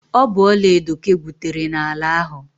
Ọ bụ ọlaedo ka egwutere n'ala ahụ.